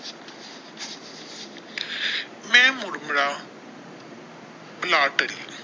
ਮੈ ਮੁਰਮੁਰਾ ਬਲਾ ਟਲੀ।